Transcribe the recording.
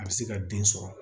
A bɛ se ka den sɔrɔ